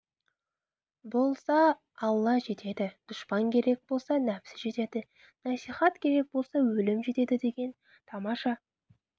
болса алла жетеді дұшпан керек болса нәпсі жетеді насихат керек болса өлім жетеді деген тамаша